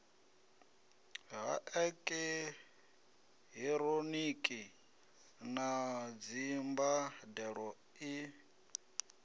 ha eekihironiki na dzimbandelo e